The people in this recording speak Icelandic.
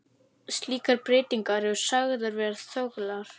Slíkar breytingar eru sagðar vera þöglar.